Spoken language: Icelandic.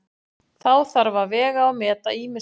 Þá þarf að vega og meta ýmislegt.